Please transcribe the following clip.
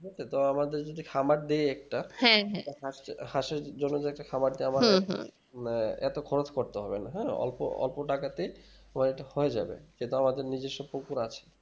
তো আমাদের যদি খামার দেয় একটা তো হাঁস চো হাঁসের জন্য যে একটা খাবার দাবার মানে এতো খরচ করতে হবে না হু অল্প অল্প টাকাতে হয়তো হয়ে যাবে সেটাও আছে নিজেস্ব পুকুর আছে